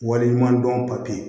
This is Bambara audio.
Waleɲuman dɔn papiye